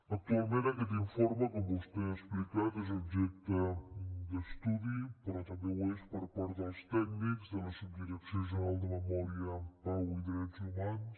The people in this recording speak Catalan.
actualment aquest informe com vostè ha explicat és objecte d’estudi però també ho és per part dels tècnics de la subdirecció general de memòria pau i drets humans